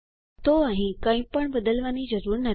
તો અહીં કઈ પણ બદલવાની જરૂર નથી